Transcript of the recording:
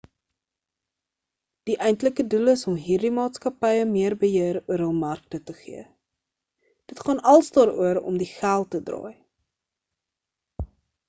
die eintlike doel is om hierdie maatskappye meer beheer oor hul markte te gee dit gaan als daaroor om die geld te draai